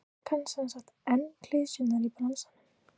Hann kann semsagt enn klisjurnar í bransanum?